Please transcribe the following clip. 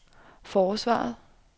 forsvaret